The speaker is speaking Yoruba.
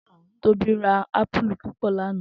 Tobi rá àpúlú púpò làná